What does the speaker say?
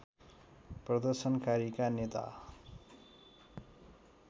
प्रदर्शनकारीका नेता